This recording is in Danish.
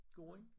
Gården